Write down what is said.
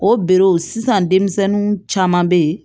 O be sisan denmisɛnninw caman be ye